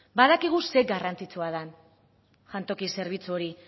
badakigu zer garrantzitsua den jantoki zerbitzu hori